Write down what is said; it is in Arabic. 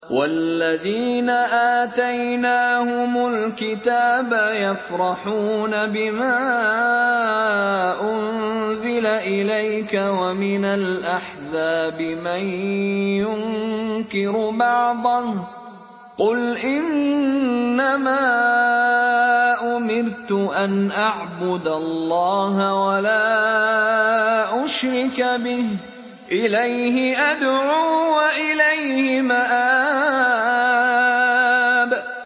وَالَّذِينَ آتَيْنَاهُمُ الْكِتَابَ يَفْرَحُونَ بِمَا أُنزِلَ إِلَيْكَ ۖ وَمِنَ الْأَحْزَابِ مَن يُنكِرُ بَعْضَهُ ۚ قُلْ إِنَّمَا أُمِرْتُ أَنْ أَعْبُدَ اللَّهَ وَلَا أُشْرِكَ بِهِ ۚ إِلَيْهِ أَدْعُو وَإِلَيْهِ مَآبِ